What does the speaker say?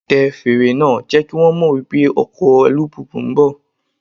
Tẹ fèrè náà, jẹ́ kí wón mọ̀ wípé ọkọ̀ alùpùpù ń bọ̀.